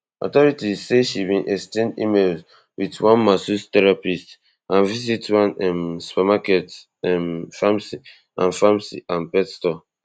authorities say she bin exchange emails wit one masses terapist and visit one um supermarket um pharmacy and pharmacy and pet store